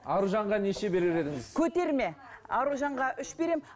аружанға неше берер едіңіз көтерме аружанға үш беремін